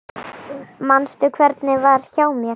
Manstu hvernig var hjá mér?